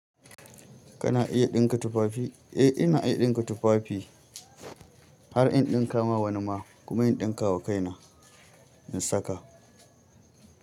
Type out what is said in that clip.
Kana iya ɗinka tufafi? Eh ina iya ɗinka tufafi har in ɗinkawa wani ma kuma in ɗinkawa kaina in saka.